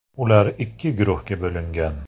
Ular ikki guruhga bo‘lingan.